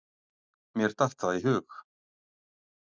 Mér datt það í hug!